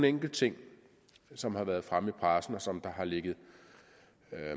enkelt ting som har været fremme i pressen og som har ligget